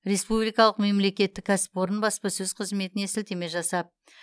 республикалық мемлекеттік кәсіпорын баспасөз қызметіне сілтеме жасап